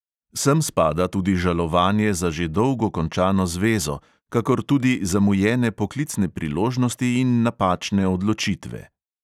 Sem spada tudi žalovanje za že dolgo končano zvezo, kakor tudi zamujene poklicne priložnosti in napačne odločitve.